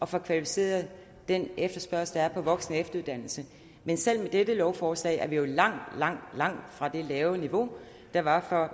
få kvalificeret den efterspørgsel der er på voksen og efteruddannelse men selv med dette lovforslag er vi jo langt langt langt fra det lave niveau der var for